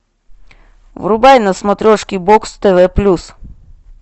врубай на смотрешке бокс тв плюс